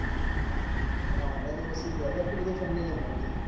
હા હવે તો ઓછી થયી. હવે તો એટલી બધી ઠંડી નઈ પડતી.